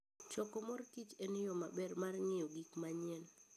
Choko mor kich en yo maber mar ng'eyo gik manyien.